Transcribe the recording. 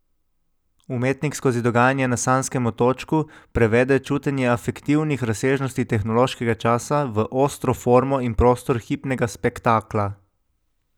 Umetnik skozi dogajanje na sanjskem otočku prevede čutenje afektivnih razsežnosti tehnološkega časa v ostro formo in prostor hipnega spektakla.